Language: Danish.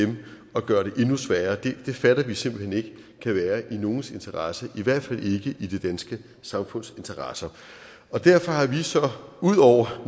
og gør det endnu sværere det fatter vi simpelt hen ikke kan være i nogens interesse i hvert fald ikke i det danske samfunds interesse derfor har vi så ud over